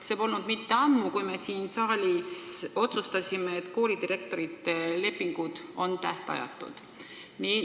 See polnud kuigi ammu, kui me siin saalis otsustasime, et koolidirektorite lepingud on tähtajatud.